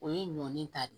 O ye nɔ ne ta de ye